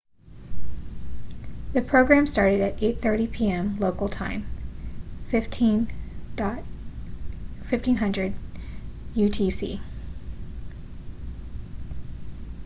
the program started at 8:30 p.m. local time 15.00 utc